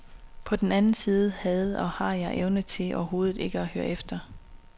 På den anden side havde og har jeg en evne til overhovedet ikke at høre efter.